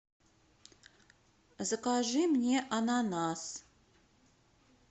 закажи мне ананас